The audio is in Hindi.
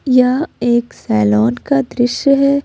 यह एक सैलॉन का दृश्य है।